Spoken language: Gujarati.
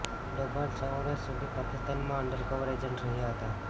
ડોભાલ છ વર્ષ સુધી પાકિસ્તાનમાં અંડરકવર એજન્ટ રહ્યા હતા